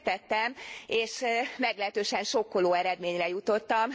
Én megtettem, és meglehetősen sokkoló eredményre jutottam.